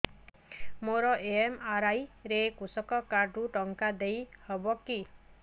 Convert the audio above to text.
ମୋର ଏମ.ଆର.ଆଇ ରେ କୃଷକ କାର୍ଡ ରୁ ଟଙ୍କା ଦେଇ ହବ କି